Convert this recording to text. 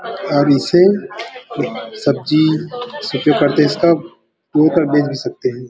pencil सब्जी --